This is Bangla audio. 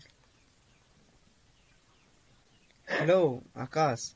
hello আকাশ?